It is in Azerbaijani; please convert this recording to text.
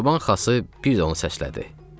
Çoban Xası bir də onu səslədi.